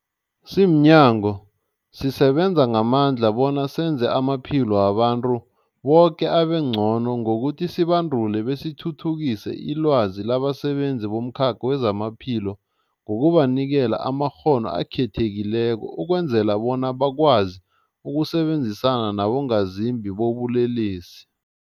Simnyango, sisebenza ngamandla bona senze amaphilo wabantu boke abengcono ngokuthi sibandule besithuthukise ilwazi labasebenzi bomkhakha wezamaphilo ngokubanikela amakghono akhethekileko ukwenzela bona bakwazi ukusebenzisana nabongazimbi bobulelesi.